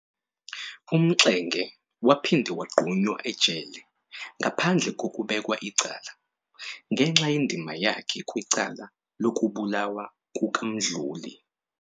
UMxenge waphinda wagqunywa ejele ngaphandle koukbekwa icala, ngenxa yendima yakhe kwicala lokubulawa kukaMduli.